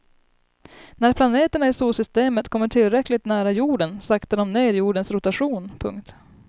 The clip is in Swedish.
När planeterna i solsystemet kommer tillräckligt nära jorden saktar de ner jordens rotation. punkt